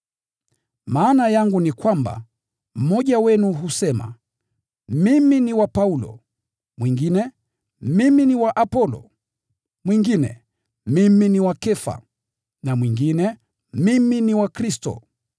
Maana yangu ni kwamba: Mmoja wenu husema, “Mimi ni wa Paulo”; mwingine, “Mimi ni wa Apolo”; mwingine, “Mimi ni wa Kefa,” na mwingine, “Mimi ni wa Kristo.”